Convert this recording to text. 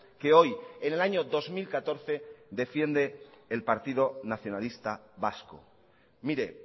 que hoy en el año dos mil catorce defiende el partido nacionalista vasco mire